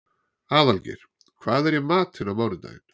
Aðalgeir, hvað er í matinn á mánudaginn?